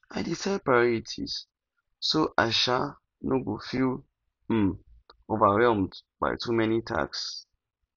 i dey set priorities so i um no go feel um overwhelmed by too many tasks